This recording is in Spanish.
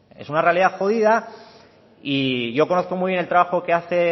es una realidad jodida y yo conozco muy bien el trabajo que hace